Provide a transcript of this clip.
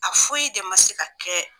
A foyi de ma se ka kɛ.